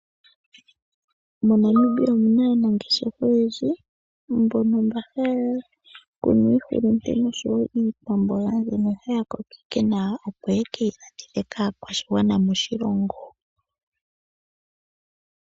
MoNamibia omu na aanangeshefa oyendji mbono mba haya kunu iihulunde nosho wo iikwamboga mbyono haya kokeke nawa, opo ye ke yi landithe kaakwashigwana moshilongo.